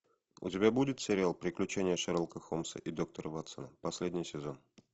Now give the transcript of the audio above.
у тебя будет сериал приключения шерлока холмса и доктора ватсона последний сезон